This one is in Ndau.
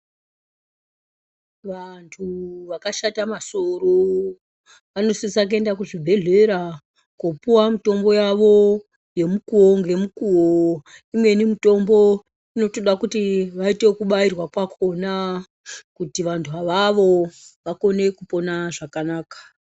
Vantu vakashata masoro vanosisa kuenda kuzvibhendlera koopuwa mutombo yavo yemukuwo ngemukuwo. Imweni mitombo yakhona inoda kuti vaite ekubairwa kwakhona kuti vantu avavo vakone kupona zvakanaka.